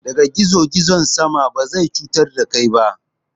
Ɗaga gizo-gizon sama, ba zai cutar da kai ba.